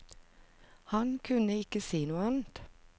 Han kunne ikke si noe annet.